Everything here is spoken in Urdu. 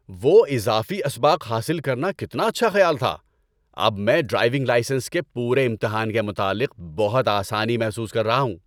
وہ اضافی اسباق حاصل کرنا کتنا اچھا خیال تھا! اب میں ڈرائیونگ لائسنس کے پورے امتحان کے متعلق بہت آسانی محسوس کر رہا ہوں۔